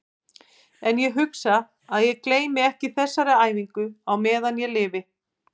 Ég gat ekki hamið mig.